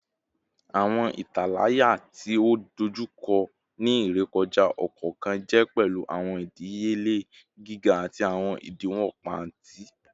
Awọn italaya ti o dojukọ ni irekọja ọkọọkan jẹ pẹlu awọn idiyele giga ati awọn idiwọn paati